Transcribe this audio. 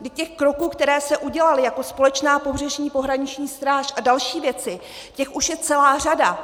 Vždyť těch kroků, které se udělaly, jako společná pobřežní pohraniční stráž a další věci, těch už je celá řada.